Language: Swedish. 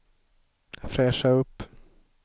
fräscha upp